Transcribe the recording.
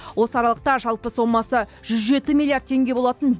осы аралықта жалпы сомасы жүз жеті миллиард теңге болатын